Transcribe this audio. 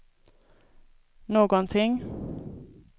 någonting